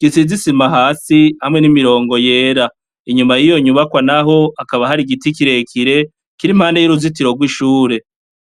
gisizisima hasi hamwe n'imirongo yera inyuma yiyo nyubakwa, naho akaba hari igiti kirekire kiri impande y'uruzitiro rw'ishure.